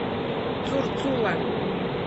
цурцула